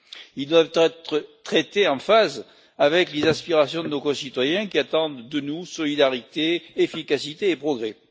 Ils doivent être traités en phase avec les aspirations de nos concitoyens qui attendent de nous solidarité, efficacité et progrès.